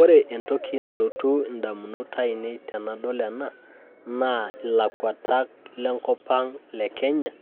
Ore entoki nalotu indamunot aainei tenadol ena naa ilakwata lenkopang enkenya